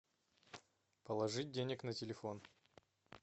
положить денег на телефон